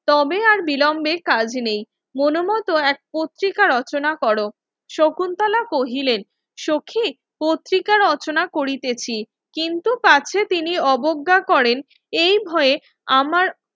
তবে আর বিলম্বে কাজ নেই মনমতো এক প্রত্রিকা রচনা করো শকুন্তলা কহিলেন সখি পত্রিকা রচনা করিতেছি কিন্তু পার্শে তিনি অবজ্ঞা করেন এই ভয়ে আমার